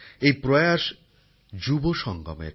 এই প্রয়াস যুব সঙ্গমের